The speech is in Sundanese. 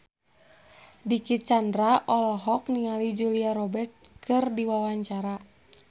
Dicky Chandra olohok ningali Julia Robert keur diwawancara